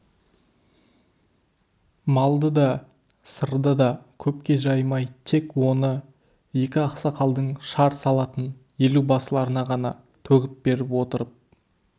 малды да сырды да көпке жаймай тек он екі ақсақалдың шар салатын елубасыларына ғана төгіп беріп отырып